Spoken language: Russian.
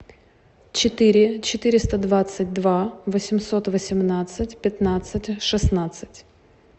четыре четыреста двадцать два восемьсот восемнадцать пятнадцать шестнадцать